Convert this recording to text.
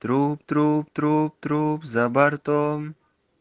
труп труп труп труп за бортом